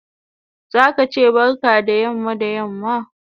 Zaka che barka da yamma da yamma